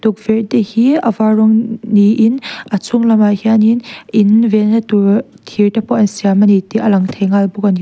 tukverh te hi a var rawng niin a chhung lamah hianin in venna tur thir te pawh an siam ani tih a lang thei nghal bawk ani.